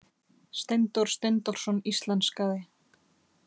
Steindór Steindórsson íslenskaði.